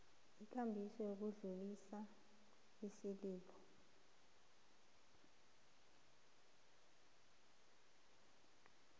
ikambiso yokudlulisa isililo